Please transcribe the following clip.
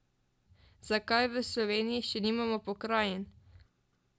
Zakaj v Sloveniji še nimamo pokrajin?